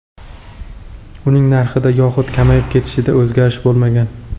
Uning narxida yoxud kamayib ketishida o‘zgarish bo‘lmagan.